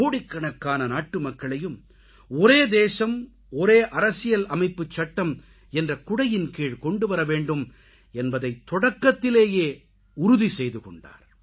கோடிக்கணக்கான நாட்டுமக்களையும் ஒரே தேசம் ஒரே அரசியல் அமைப்புச் சட்டம் என்ற குடையின் கீழ் கொண்டு வரவேண்டும் என்பதைத் தொடக்கத்திலேயே உறுதி செய்துகொண்டார்